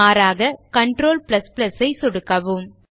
மாறாக Ctrl சை சொடுக்கவும்